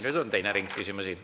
Nüüd on teine ring küsimusi.